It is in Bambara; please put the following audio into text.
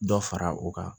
Dɔ fara u kan